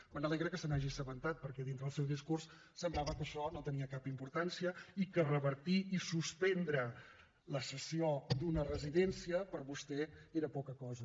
m’alegra que se n’hagi assabentat perquè dins del seu discurs semblava que això no tenia cap importància i que revertir i suspendre la cessió d’una residència per vostè era poca cosa